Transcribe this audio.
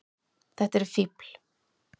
Þetta eru fífl.